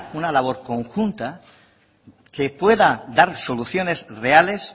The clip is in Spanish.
una labor conjunta que pueda dar soluciones reales